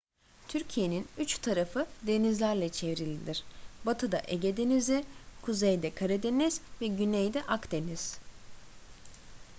türkiye'nin üç tarafı denizlerle çevrilidir batıda ege denizi kuzeyde karadeniz ve güneyde akdeniz